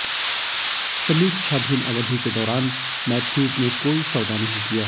समीक्षाधीन अवधि के दौरान मैथ्यूज ने कोई सौदा नहीं किया